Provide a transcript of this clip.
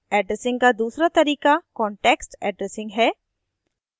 addressing का दूसरा तरीका context addressing है